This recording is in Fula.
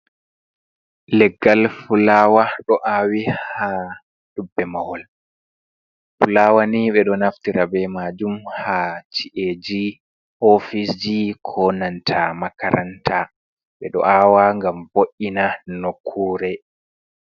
"Leggal fulaawa" ɗo awi ha dubbe mahol. Fulaawa ni ɓeɗo naftira be majum haa chi’eji, ofisji, ko nanta makaranta ɓe ɗo awa ngam vo’ina nokkure.